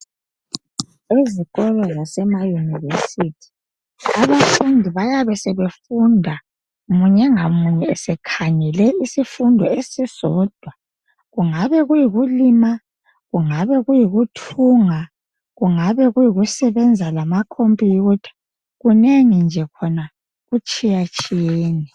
Ezikolo zemayunivesithi abafundi bayabe sebefunda munye ngamunye esekhangele isifundo esisodwa kungabe kuyikulima kungabe kuyikuthunga, kungabe kuyikusebenza lamakhompiyutha, kunengi khona kutshiyatshiyene.